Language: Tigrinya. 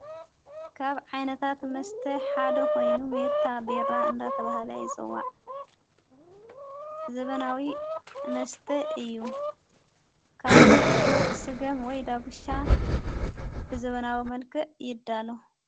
ካብ ዓይነታት መስተ ሓደ ኾይኑ ሜታ ቤራ እንዳተብሃለ የፅዋዕ ዘበናዊ መስተ እዩ ካብ ሥገም ወይ ዳብሻ ብዘበናዊ መልቀእ ይዳ ኣሎ።